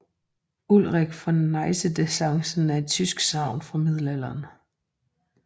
Ulrik fra Niedersachsen er et tysk sagn fra middelalderen